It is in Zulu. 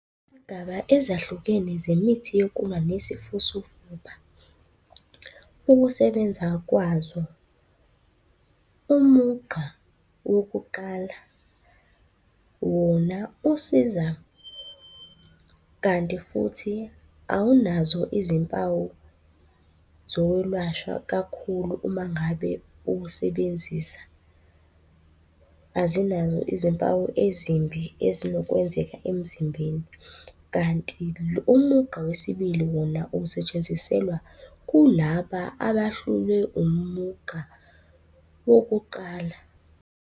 Izigaba ezahlukene zemithi yokulwa nesifo sofuba. Ukusebenza kwazo, umugqa wokuqala wona usiza kanti futhi awunazo izimpawu zokwelashwa kakhulu uma ngabe uwusebenzisa. Azinazo izimpawu ezimbi ezinokwenzeka emzimbeni, kanti umugqa wesibili wona usetshenziselwa kulaba abahlulwe umugqa wokuqala.